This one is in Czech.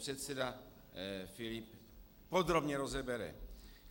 Předseda Filip podrobně rozebere.